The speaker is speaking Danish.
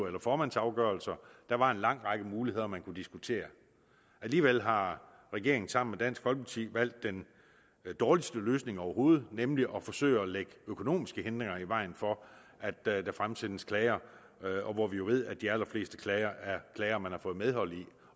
eller formandsafgørelser der var en lang række muligheder man kunne diskutere alligevel har regeringen sammen med dansk folkeparti valgt den dårligste løsning overhovedet nemlig at forsøge at lægge økonomiske hindringer i vejen for at der der fremsendes klager og vi ved jo at de allerfleste klager er klager man har fået medhold i